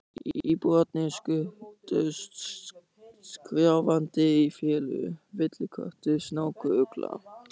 Íbúarnir skutust skrjáfandi í felur: villiköttur, snákur, ugla.